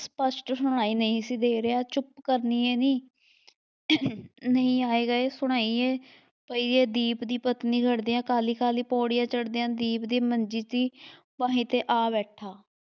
ਸਪਸ਼ਟ ਸੁਣਾਈ ਨਹੀਂ ਸੀ ਦੇ ਰਿਹਾ ਚੁੱਪ ਕਰਨੀਏ ਨੀ ਨਹੀਂ ਆਏ ਗਏ ਸੁਣਾਈਏ ਪਈਏ ਦੀਪ ਦੀ ਪਤਨੀ ਕਾਹਲੀ ਕਾਹਲੀ ਪੌੜੀਆਂ ਚੜ੍ਹਦਿਆਂ ਦੀਪ ਦੀ ਮੰਜੀ ਦੀ ਬਾਹੀ ਤੇ ਆ ਬੈਠਾ।